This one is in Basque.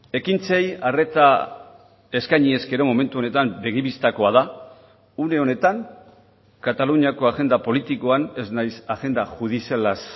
ekintzei arreta eskaini ezkero momentu honetan begi bistakoa da une honetan kataluniako agenda politikoan ez naiz agenda judizialaz